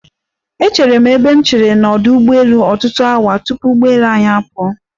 Echeere m ebe nchere n'ọdụ ụgbọelu ọtutụ awa tupu ụgbọelu anyi apụọ.